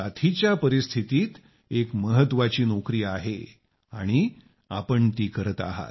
आणि अशा साथीच्या परिस्थितीत अजून एक महत्वाची नोकरी आहे आणि आपण ती करत आहात